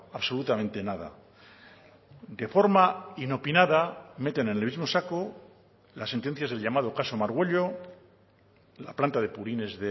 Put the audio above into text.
absolutamente nada de forma inopinada meten en el mismo saco las sentencias del llamado caso margüello la planta de purines